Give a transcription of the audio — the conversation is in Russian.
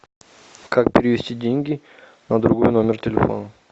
как перевести деньги на другой номер телефона